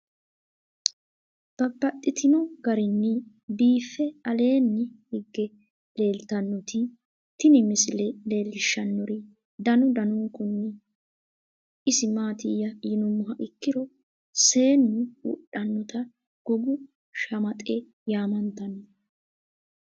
Babaxxittinno garinni biiffe aleenni hige leelittannotti tinni misile lelishshanori danu danunkunni isi maattiya yinummoha ikkiro seennu wodhannotta gogu shamaxxe yaamanttanno.